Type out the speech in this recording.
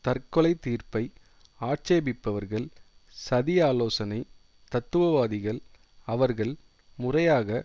தற்கொலை தீர்ப்பை ஆட்சேபிப்பவர்கள் சதி ஆலோசனை தத்துவவாதிகள் அவர்கள் முறையாக